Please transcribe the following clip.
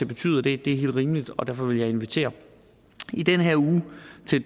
betyde og det er helt rimeligt og derfor vil jeg invitere i den her uge